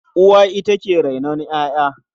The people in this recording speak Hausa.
Uwa ita ke rainon ƴaƴa.